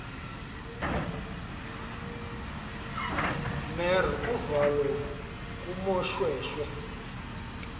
mer uvalo kumoshweshwe